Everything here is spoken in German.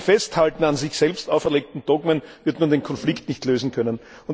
Mit dem Festhalten an sich selbst auferlegten Dogmen wird man den Konflikt nicht lösen können.